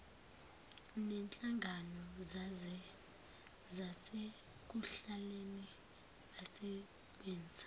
nenhlangano zasekuhlaleni basebenza